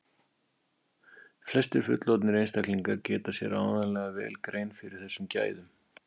flestir fullorðnir einstaklingar gera sér áreiðanlega vel grein fyrir þessum gæðum